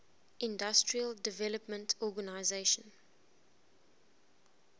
industrial development organization